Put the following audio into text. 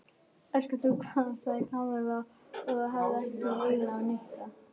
Elskar þú hvað? sagði Kamilla og hafði ekki augun af Nikka.